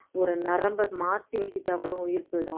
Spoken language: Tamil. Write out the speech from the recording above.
ஒரு நரம்பை மாத்தி வெட்டிட்டா கூட உயிர் போய்டும்